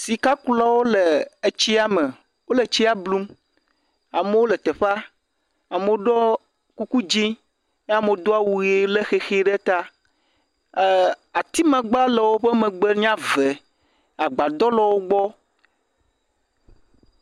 Sikakulawo le tsia me, wole tsia blum. Amewo le teƒe, amewo ɖo kuku dzɛ̃ eye amewo do awu ʋi le xexi ɖe ta. Eer atimagbe le wo megbe nye ave. Agbadɔ le wo gbɔ.